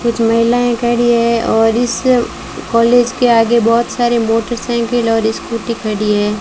कुछ महिलाएं खड़ी हैं और इस कॉलेज के आगे बहुत सारे मोटरसाइकिल और स्कूटी खड़ी है।